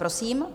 Prosím.